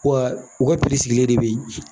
Wa u ka sigilen de be yen